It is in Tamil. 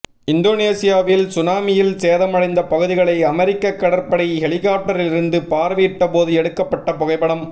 இந்தோனீசியாவில் சுனாமியில் சேதமடைந்த பகுதிகளை அமெரிக்க கடற்படை ஹெலிகாப்டரிலிருந்து பார்வையிட்டபோது எடுக்கப்பட்ட புகைப்படம்